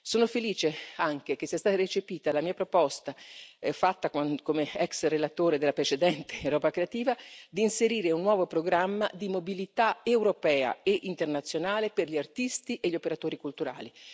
Sono felice altresì che sia stata recepita la mia proposta, avanzata in qualità di ex relatore del precedente programma Europa creativa, di inserire un nuovo programma di mobilità europea e internazionale per gli artisti e gli operatori culturali.